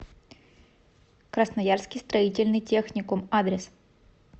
красноярский строительный техникум адрес